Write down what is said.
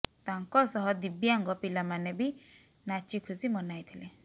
ତାଙ୍କ ସହ ଦିବ୍ୟାଙ୍ଗ ପିଲାମାନେ ବି ନାଚି ଖୁସି ମନାଇଥିଲେ